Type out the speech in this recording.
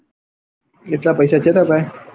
એટલા પૈસા છે તાર પાંહે?